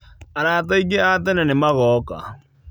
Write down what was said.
Arata aingĩ a tene nĩmagoka.